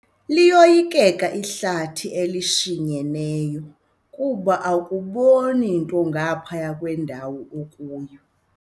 Liyoyikeka ihlathi elishinyeneyo kuba akuboni nto ngaphaya kwendawo okuyo.